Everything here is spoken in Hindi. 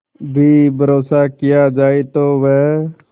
भी भरोसा किया जाए तो वह